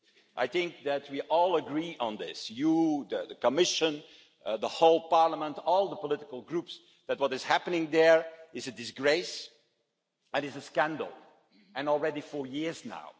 I think we all agree on this you, the Commission, the whole Parliament, all the political groups that what is happening there is a disgrace, it is a scandal, and already for years now.